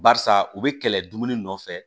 Barisa u bɛ kɛlɛ dumuni nɔfɛ